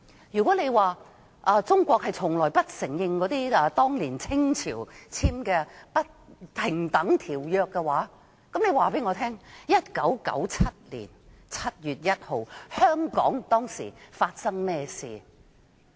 如果說中國從不承認當年清政府簽訂的不平等條約，請告訴我 ，1997 年7月1日香港當時發生甚麼事？